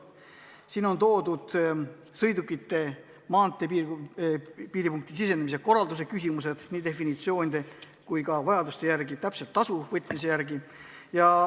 Käsitletud on ka sõidukite maanteepiiripunkti sisenemise korraldust ja seal tasu võtmist.